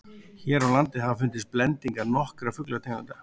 hér á landi hafa fundist blendingar nokkurra fuglategunda